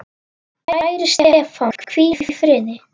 Kæri Stefán, hvíl í friði.